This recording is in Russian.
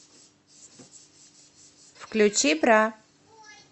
включи бра